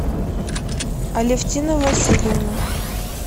алевтина васильевна